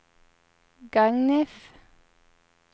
Gagnef